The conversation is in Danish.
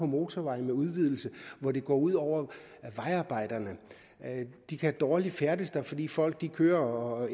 motorvejsudvidelser hvor det går ud over vejarbejderne de kan dårligt færdes der fordi folk kører og